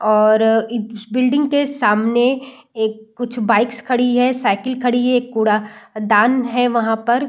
और इस बिल्डिंग के सामने एक कुछ बाइक साइकिल खड़ी है एक कूड़ादान है वहां पर |